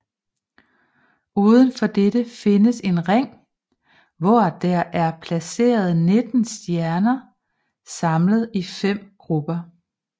Udenfor dette findes en ring hvor der er placeret nitten stjerner samlet i fem grupper